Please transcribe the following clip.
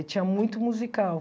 E tinha muito musical.